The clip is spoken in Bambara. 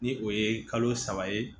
Ni o ye kalo saba ye